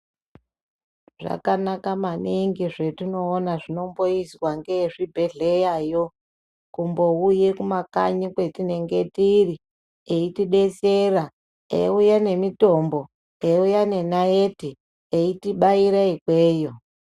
Zvakanaka maningi zvatinoona zvinomboizwa ngeezvibhehleyayo kumbouye kumakanyi kwatinenge tiri eitidetsera eiuye nemitombo ,eiuya nenaiti eitibaire ikweyo.